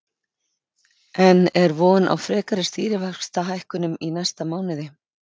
En er von á frekari stýrivaxtahækkunum í næsta mánuði?